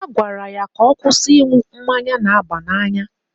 A gwara ya ka ọ kwụsị ịṅụ mmanya na-aba n'anya.